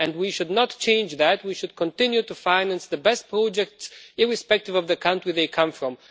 We should not change that but should continue to finance the best projects irrespective of the country they come from.